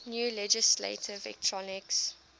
new legislative elections